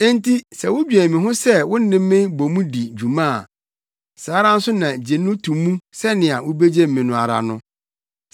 Enti sɛ wudwen me ho sɛ wo ne me bɔ mu di dwuma a, saa ara nso na gye no to mu sɛnea wubegye me no ara no.